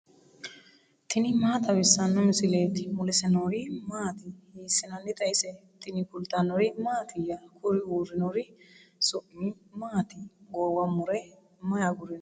tini maa xawissanno misileeti ? mulese noori maati ? hiissinannite ise ? tini kultannori mattiya? Kuri uurinnori su'mi maatti? Goowa mure mayi agurinno?